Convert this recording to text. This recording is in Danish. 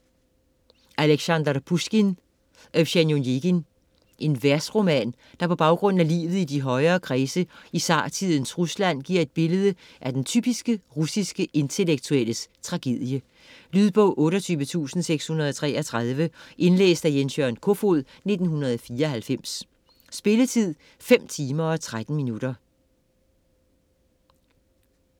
Pusjkin, Aleksandr: Evgenij Onegin Versroman der på baggrund af livet i de højere kredse i zartidens Rusland giver et billede af den typiske russiske intellektuelles tragedie. Lydbog 28633 Indlæst af Jens-Jørgen Kofod, 1994. Spilletid: 5 timer, 13 minutter.